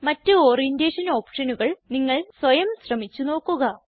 മറ്റ് ഓറിയന്റേഷൻ ഓപ്ഷനുകൾ നിങ്ങൾ സ്വയം ശ്രമിച്ച് നോക്കുക